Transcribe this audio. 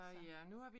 Så